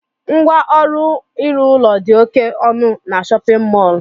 Ngwa ọrụ ịrụ ụlọ dị oké ọnụ n'shóppin mol